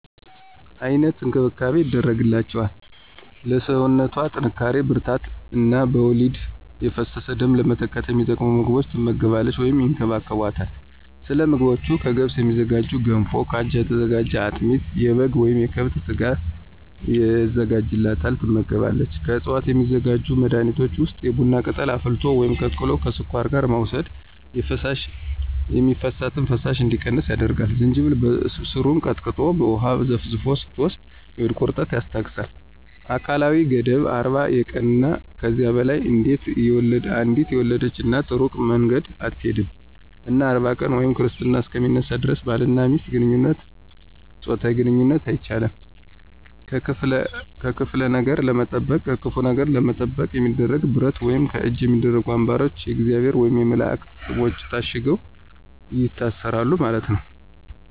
አይነት እንክብካቤ ይደረግላቸዋል ለሰውነቶ ጥንካሪ ብርራታት እነ በወሊድ የፈሰሰውን ደም ለመተካት የሚጠቅሙ ምግቦች ትመገባለች ወይም ይከባከቦታል። ሰለምግቦቹ ከገብስ የሚዝጋጁ ገንፎ ከአጃ የተዘጋጀ አጥሚት የበጋ ወይም የከብት ስጋ የዘጋጅላታል ትመገባለች። ከዕፅዋት የሚዘጋጁ መድኃኒቶች ውስጥ የቡና ቅጠልን አፍልቶ ወይም ቀቅሎ ከስኳር ጋር መውሰድ የሚፈሳት ፈሳሽ እንዲቀንስ ያደርጋል፣ ዝንጅብልን በሰሩን ቀጥቀጠን በውሃ ዘፍዝፈን ስትወስድ የሆድ ቁረጠትን ያስታገሳል። አካላዊ ገደብ 40 የቀንና ከዚያ በላይ አንዴት የወለድች እናት እሩቅ መንገድ አትሆድም እና 40 ቀን ወይም ክርስትና እሰከ ሚነሳ ደረስ ባልና ሚስት ጾታዊ ግንኝነት አይቻልም። ከክፍለ ነገር ለመጠበቅ የሚደረገው ብረት ወይም ከእጅ የሚደረጉ አንባሮች የእግዚአብሔር ወየም የመላእክት ሰሞች ታሽገው ይታሰሩለታል ማለት ነው።